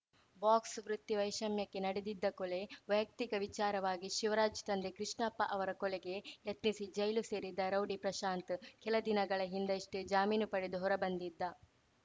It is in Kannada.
ಬಾಕ್ಸ್‌ವೃತ್ತಿ ವೈಷಮ್ಯಕ್ಕೆ ನಡೆದಿದ್ದ ಕೊಲೆ ವೈಯಕ್ತಿಕ ವಿಚಾರವಾಗಿ ಶಿವರಾಜ್‌ ತಂದೆ ಕೃಷ್ಣಪ್ಪ ಅವರ ಕೊಲೆಗೆ ಯತ್ನಿಸಿ ಜೈಲು ಸೇರಿದ್ದ ರೌಡಿ ಪ್ರಶಾಂತ್‌ ಕೆಲ ದಿನಗಳ ಹಿಂದಷ್ಟೆಜಾಮೀನು ಪಡೆದು ಹೊರ ಬಂದಿದ್ದ